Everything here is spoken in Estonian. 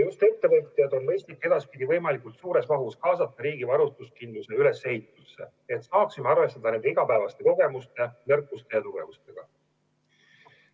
Just ettevõtjaid on mõistlik edaspidi võimalikult suures mahus kaasata riigi varustuskindluse ülesehitusse, et saaksime arvestada nende igapäevaste kogemuste, nõrkuste ja tugevustega.